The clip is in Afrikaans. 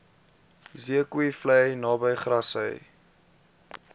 zeekoevlei naby grassy